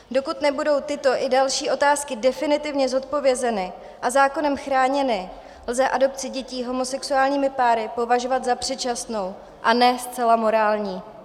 Dokud nebudou tyto i další otázky definitivně zodpovězeny a zákonem chráněny, lze adopci dětí homosexuálními páry považovat za předčasnou a ne zcela morální.